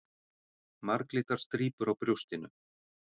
Marglitar strípur á brjóstinu.